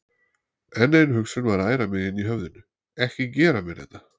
En ein hugsun var að æra mig inni í höfðinu: Ekki gera mér þetta!